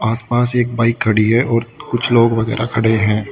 आसपास एक बाइक खड़ी है और कुछ लोग वगैरा खड़े हैं।